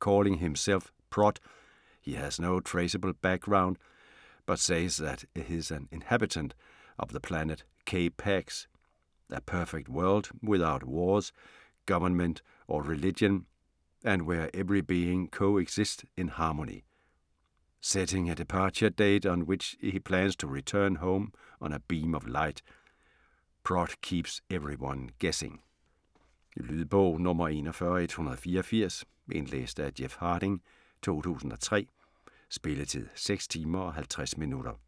Calling himself 'Prot' he has no traceable background but says that he is an inhabitant of the planet K-PAX, a perfect world without wars, government or religion, and where every being co-exits in harmony. Setting a departure date on which he plans to return home on a beam of light, 'Prot' keeps everyone guessing. Lydbog 41184 Indlæst af Jeff Harding, 2003. Spilletid: 6 timer, 50 minutter.